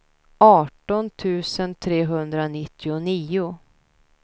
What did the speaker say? arton tusen trehundranittionio